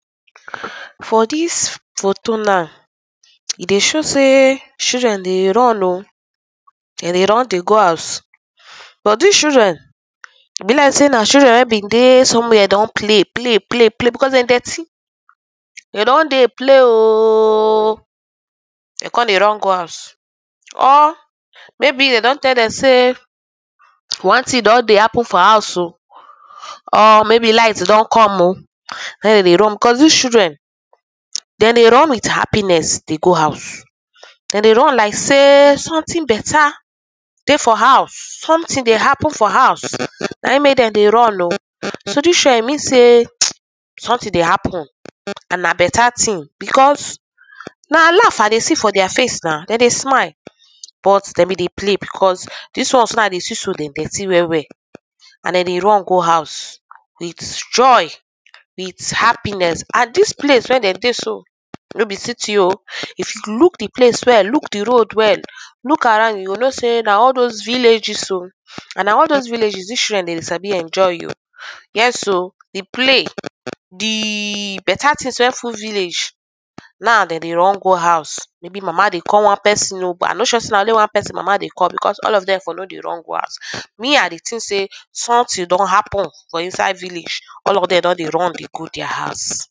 For dis photo now, e dey show say children dey run oh dey dey run dey go house but dis children e be like sey na children wey been dey some where don play play play play becos dem dirty, dem don dey play oh! Kon dey run go house or maybe dem don tell dem say one tin don dey happen for house oh or maybe light don come oh naim dem dey run becos dis children dey dey run with happiness dey go house, dem dey run like sey sometin better dey for house sometin dey happen for house naim make dem dey run oh, so dis children mean sey sometin dey happen and na better tin becos na laff I dey see for dia face na dey dey smile but dem be dey play becos dis ones wey I dey see so dey dirty well well and dey dey run go house with joy with happiness and dis place wey dem dey so no be city oh if you look di place well, look di road well, look around you go know sey na all dose villages oh and na all dose villages dis children dem dey sadi enjoy. Yes oh, di play, di better tins wey full village na dem dey run go house maybe mama dey call one pesin oh but I no sure say na only one pesin mama dey call becos all of dem for no dey run go house me I dey tink sey sometin don happen for inside village all of dem don dey run dey go dia house.